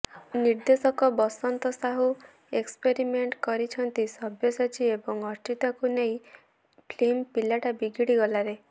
ନିର୍ଦ୍ଦେଶକ ବସନ୍ତ ସାହୁ ଏକ୍ସପେରିମେଣ୍ଟ କରିଛନ୍ତି ସବ୍ୟସାଚୀ ଏବଂ ଅର୍ଚ୍ଚିତାଙ୍କୁ ନେଇ ଫିଲ୍ମ ପିଲାଟା ବିଗିଡି ଗଲାରେ